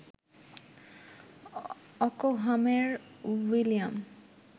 অকহামের William